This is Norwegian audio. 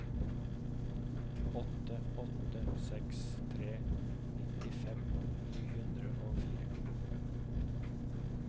åtte åtte seks tre nittifem ni hundre og fire